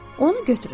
Onu götürün.